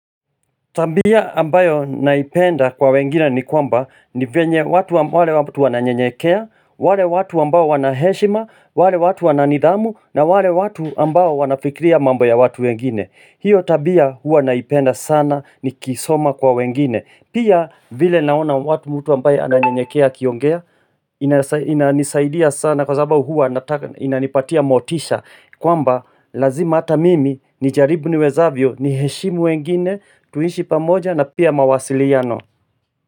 Tabia ambayo naipenda kwa wengine ni kwamba ni venye watu wale watu wananyenyekea, wale watu ambao wanaheshima, wale watu wananidhamu, na wale watu ambao wanafikiria mambo ya watu wengine. Hiyo tabia huwa naipenda sana nikiisoma kwa wengine. Pia vile naona watu mtu ambaye ananyenyekea akiongea inanisaidia sana kwasababu huwa nataka, inanipatia motisha kwamba lazima ata mimi nijaribu niwezavyo niheshimu wengine tuishi pamoja na pia mawasiliano.